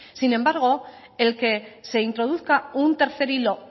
sin embargo el que se introduzca un tercer hilo